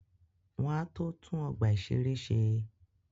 Wọ́n á tó tún ọgbà-ìṣeré ṣe